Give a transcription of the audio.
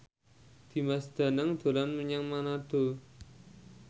Dimas Danang dolan menyang Manado